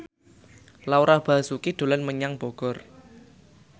Laura Basuki dolan menyang Bogor